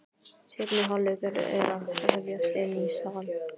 Seinni hálfleikur er að hefjast inni í sal.